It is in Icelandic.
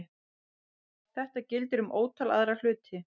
Þetta gildir um ótal aðra hluti.